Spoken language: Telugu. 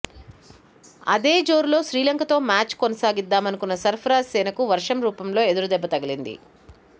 అదే జోరును శ్రీలంకతో మ్యాచ్కు కొనసాగిద్దామనుకున్న సర్ఫరాజ్ సేనకు వర్షం రూపంలో ఎదురుదెబ్బ తగిలింది